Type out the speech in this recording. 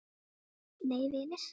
Nei vinir!